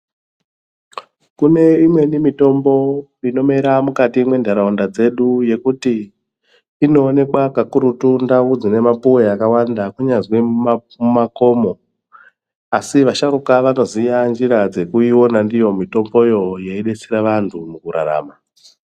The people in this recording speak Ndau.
Kuneimweni mitombo inomera mukati mwendaraunda dzedu yekuti inoonekwa kakurutu ndau dzine mapuwe akawanda kunyazi mumakomo asi asharuka edu anoziya njira dzekuyiona ndiyo mitombo yo yeidetsera antu mukurarama.